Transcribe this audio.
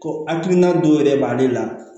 Ko hakilina dɔ yɛrɛ b'ale la